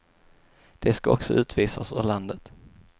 De ska också utvisas ur landet.